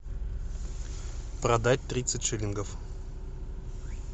продать тридцать шиллингов